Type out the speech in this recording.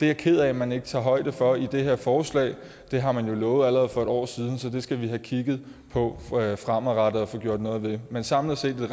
jeg ked af at man ikke tager højde for i det her forslag det har man jo lovet allerede for et år siden så det skal vi have kigget på fremadrettet og få gjort noget ved men samlet set